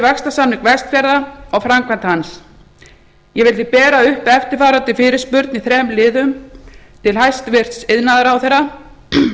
vaxtarsamning vestfjarða og framkvæmd hans ég vil því bera upp eftirfarandi fyrirspurn í þrem liðum til hæstvirts iðnaðarráðherra